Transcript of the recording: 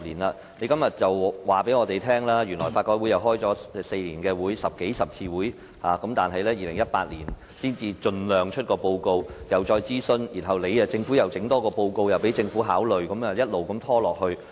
今天，局長告訴我們，法改會轄下小組委員會在這4年舉行了數十次會議，會盡量在2018年發表報告並進行諮詢，然後又再發表報告書供政府考慮，一直拖下去。